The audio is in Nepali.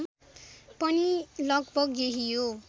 पनि लगभग यही हो